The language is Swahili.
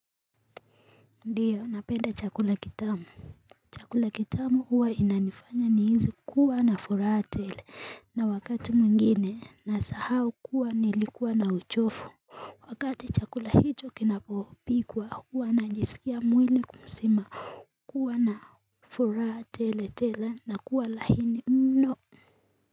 Ndiyo napenda chakula kitamu chakula kitamu huwa inanifanya ni hizi kuwa na furatele na wakati mwingine na sahau kuwa nilikuwa na uchofu Wakati chakula hito kinapopikwa huwa najisikia mwili kumsima kuwa na furatele tele na kuwa lahini mno.